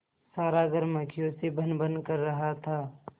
सारा घर मक्खियों से भनभन कर रहा था